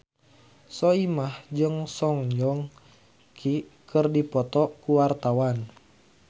Soimah jeung Song Joong Ki keur dipoto ku wartawan